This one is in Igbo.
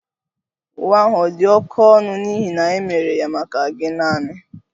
Uwe ahụ ọ̀ dị oké ọnụ n'ihi na e mere ya maka gi naani?